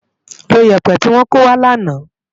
Ló yèpè ti wò kówá làná